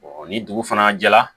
ni dugu fana jɛra